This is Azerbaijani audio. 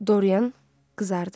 Dorian qızardı.